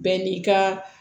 Bɛɛ n'i ka